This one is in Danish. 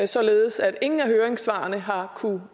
således at ingen af høringssvarene har kunnet